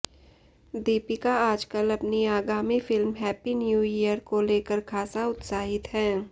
दीपिका आजकल अपनी आगामी फिल्म हैप्पी न्यू ईयर को लेकर खासा उत्साहित हैं